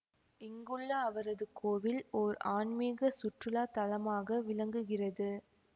இங்குள்ள அவரது கோவில் ஓர் ஆன்மிக சுற்றுலா தலமாக விளங்குகிறது